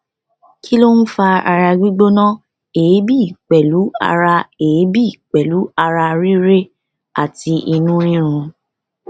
kí ló ń fa ara gbigbona eebi pelu ara eebi pelu ara rire ati inu rirun